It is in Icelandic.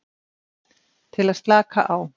Til að slaka á.